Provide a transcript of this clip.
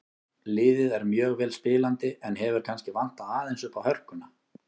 Liðið er mjög vel spilandi en hefur kannski vantað aðeins uppá hörkuna.